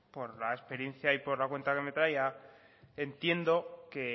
por la experiencia y por la cuenta que me trae ya entiendo que